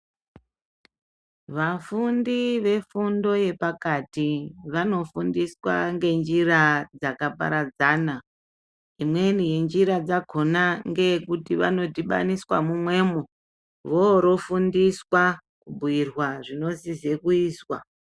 Vafundi vefundo yepakati vanofundiswa ngenjira dzakaparadzana. Imweni yenjira dzakona ngeyekuti vanodhibaniswa mumwemo vorofundiswa kubhuirwa zvinosise kuizwa.